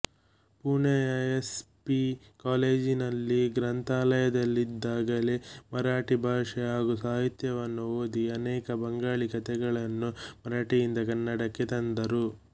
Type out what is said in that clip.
ಪುಣೆಯ S P ಕಾಲೇಜಿನಲ್ಲಿ ಗ್ರಂಥಾಲಯದಲ್ಲಿದ್ದಾಗಲೇ ಮರಾಠಿ ಭಾಷೆ ಹಾಗೂ ಸಾಹಿತ್ಯವನ್ನು ಓದಿ ಅನೇಕ ಬಂಗಾಳಿಕಥೆಗಳನ್ನು ಮರಾಠಿಯಿಂದ ಕನ್ನಡಕ್ಕೆ ತಂದರು